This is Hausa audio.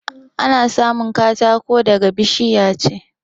Ana samun katako daga bishiya ce